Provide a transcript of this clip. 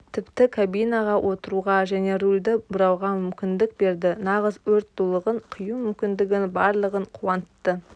тіпті кабинаға отыруға және рульді бұруға мүмкіндік берді нағыз өрт дулығын кию мүмкіндігін барлығын қуантты